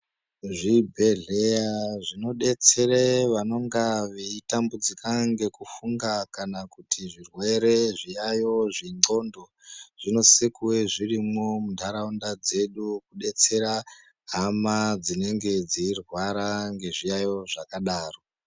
Zvibhedhlera zvinodetsera vanonga veitambudzika ngekufunga kana kuti zvirwere zvengonxo zvinosisa kunge zvirimwo mundaraunda dzedu kudetsera hama dzinenge dzeirwara nezviyayo zvakadaro.